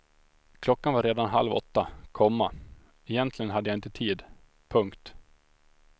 Klockan var redan halv åtta, komma egentligen hade jag inte tid. punkt